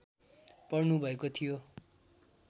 पर्नुभएको थियो